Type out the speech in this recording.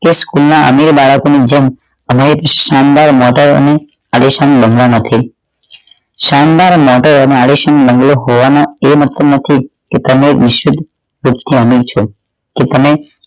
તે school અન્ય બાળકો ની જેમ અમે શાનદાર વાતાવરણ પરેશાન બનવા નથી શાનદાર માટે આલેશાન બંગલો હોવાના એ મતલબ નથી કે તમે નીચલી કક્ષા ના છો કે તમે